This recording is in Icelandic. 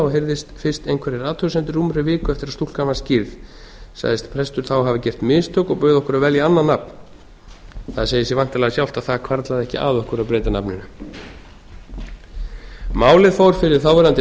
og heyrðust fyrst einhverjar athugasemdir rúmri viku eftir að stúlkan var skírð sagðist prestur þá hafa gert mistök og bauð okkur að velja annað nafn það segir sig væntanlega sjálft að það hvarflaði ekki að okkur að breyta nafninu málið fór fyrir þáverandi